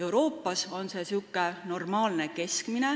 Euroopa kohta on see normaalne keskmine.